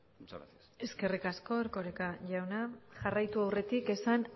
muchas gracias eskerrik asko erkoreka jauna jarraitu aurretik esan